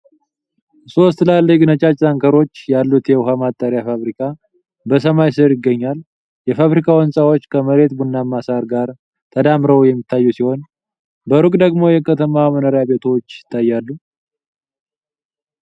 ሶስት ትላልቅ ነጫጭ ታንከሮች ያሉት የውሃ ማጣሪያ ፋብሪካ በሰማይ ስር ይገኛል። የፋብሪካው ህንፃዎች ከመሬት ቡናማ ሳር ጋር ተዳምረው የሚታዩ ሲሆን፣ በሩቅ ደግሞ የከተማ መኖሪያ ቤቶች ይታያሉ።